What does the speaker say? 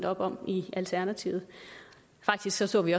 op om i alternativet faktisk så så vi